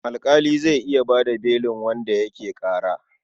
Alƙali zai iya ba da belin wanda ake ƙara.